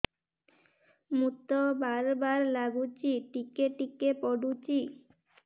ମୁତ ବାର୍ ବାର୍ ଲାଗୁଚି ଟିକେ ଟିକେ ପୁଡୁଚି